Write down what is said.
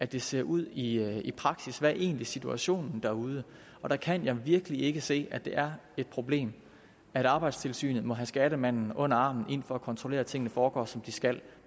det ser ud i praksis hvad er egentlig situationen derude og der kan jeg virkelig ikke se at det er et problem at arbejdstilsynet må have skattemanden med under armen for at kontrollere at tingene foregår som de skal